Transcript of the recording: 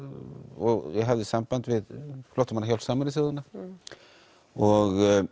og ég hafði samband við flóttamannahjálp Sameinuðu þjóðanna og